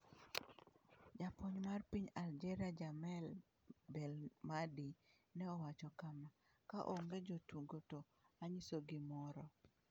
Japuonj mar piny Algeria Djamel Belmadi ne owacho kama: "Ka onge jotugo to anyiso gimoro."